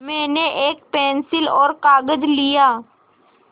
मैंने एक पेन्सिल और कागज़ लिया